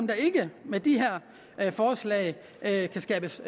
der ikke med de her forslag kan skabes